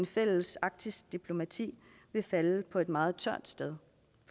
fælles arktisk diplomati vil falde på et meget tørt sted